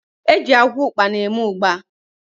Locus bean seed is used to make ugba